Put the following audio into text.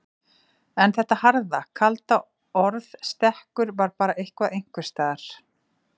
En þetta harða, kalda orð stekkur var bara eitthvað einhvers staðar.